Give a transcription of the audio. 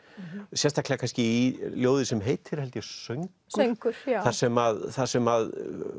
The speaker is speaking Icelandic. sérstaklega kannski í ljóði sem heitir held ég söngur söngur þar sem þar sem